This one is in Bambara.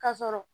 Ka sɔrɔ